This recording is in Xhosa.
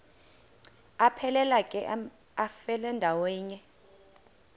aphelela ke amafelandawonye